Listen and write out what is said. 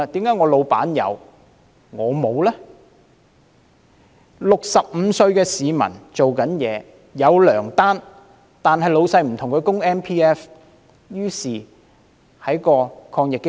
一名65歲的在職市民，有糧單，但老闆不替他的 MPF 供款，於是他無法受惠於抗疫基金。